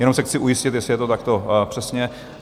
Jenom se chci ujistit, jestli je to takto přesně?